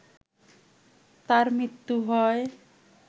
তার মৃত্যু হয়